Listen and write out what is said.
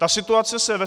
Ta situace se ve